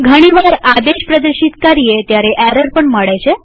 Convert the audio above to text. ઘણીવાર આદેશ પ્રદર્શિત કરીએ ત્યારે ઘણી વાર એરર પણ મળે છે